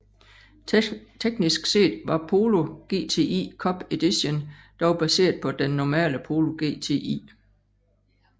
Teknisk set var Polo GTI Cup Edition dog baseret på den normale Polo GTI